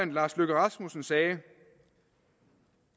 lars løkke rasmussen sagde